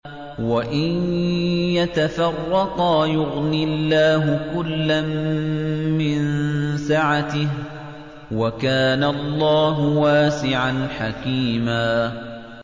وَإِن يَتَفَرَّقَا يُغْنِ اللَّهُ كُلًّا مِّن سَعَتِهِ ۚ وَكَانَ اللَّهُ وَاسِعًا حَكِيمًا